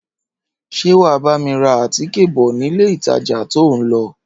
Ṣé wà á bá mi ra àtíkè bọ̀ nílé ìtajà tó ń lọ?